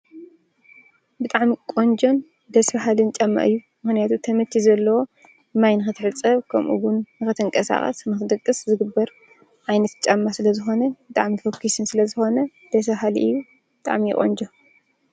ብጣዕሚ ቆንጆን ደስ በሃልን ጫማ እዩ፡፡ ምኽንያቱ ተመቺ ዘለዎ ማይ ንክትሕፀብ ከምኡውን ንኽትንቀሳቐስ፣ ንኽትድቅስ ዝግበር ዓይነት ጫማ ስለዝኾነ ብጣዕሚ ፎኪስን ስለዝኾነ ደስ በሃሊ እዩ፡፡ ብጣዕሚ እዩ ቆንጆ፡፡